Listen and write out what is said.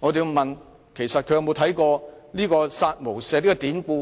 我便要問其實他曾否了解"殺無赦"的典故。